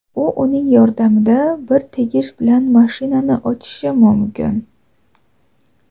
U uning yordamida bir tegish bilan mashinani ochishi mumkin.